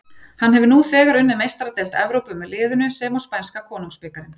Hann hefur nú þegar unnið Meistaradeild Evrópu með liðinu sem og spænska konungsbikarinn.